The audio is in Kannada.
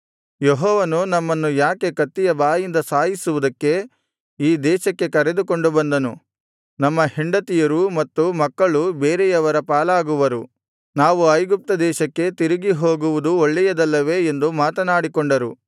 ಯೆಹೋವನು ನಮ್ಮನ್ನು ಯಾಕೆ ಕತ್ತಿಯ ಬಾಯಿಂದ ಸಾಯಿಸುವುದಕ್ಕೆ ಈ ದೇಶಕ್ಕೆ ಕರೆದುಕೊಂಡು ಬಂದನು ನಮ್ಮ ಹೆಂಡತಿಯರು ಮತ್ತು ಮಕ್ಕಳು ಬೇರೆಯವರ ಪಾಲಾಗುವರು ನಾವು ಐಗುಪ್ತ ದೇಶಕ್ಕೆ ತಿರುಗಿ ಹೋಗುವುದು ಒಳ್ಳೆಯದಲ್ಲವೇ ಎಂದು ಮಾತನಾಡಿಕೊಂಡರು